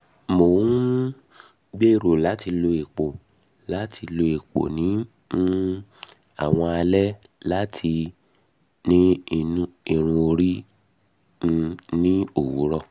mo n um gbero lati lo epo lati lo epo ni um awọn alẹ ati lati ni irun ori um ni owurọ